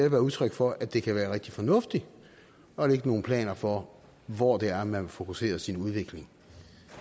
et udtryk for at det kan være rigtig fornuftigt at lægge nogle planer for hvor det er man vil fokusere sin udvikling